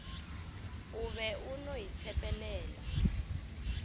o be o no itshepelela